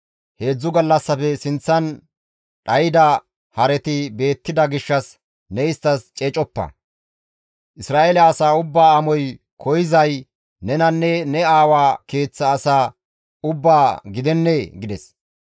Heedzdzu gallassafe sinththan dhayda hareti beettida gishshas ne isttas ceecoppa; Isra7eele asaa ubbaa amoy koyzay nenanne ne aawa keeththa asaa ubbaa gidennee?» gides.